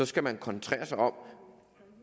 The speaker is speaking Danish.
skal man koncentrere sig om